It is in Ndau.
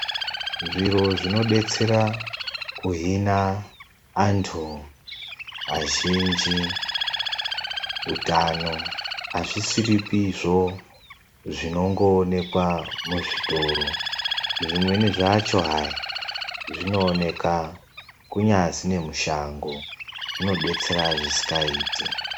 Zviro zvinodetsera kuhina antu azhinji utano, azvisiripizvo zvinongoonekwa muzvitoro. Zvimweni zvacho hai zvinooneka kunyazi nemushango zvinodetsera yaamho.